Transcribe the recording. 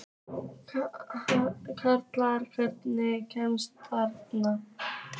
Kendra, hvernig kemst ég þangað?